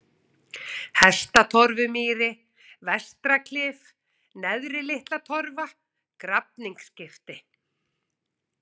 Hestatorfumýri, Vestraklif, Neðri-Litlatorfa, Grafningsskipti